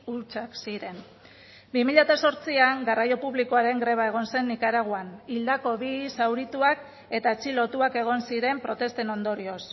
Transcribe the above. hutsak ziren bi mila zortzian garraio publikoaren greba egon zen nikaraguan hildako bi zaurituak eta atxilotuak egon ziren protesten ondorioz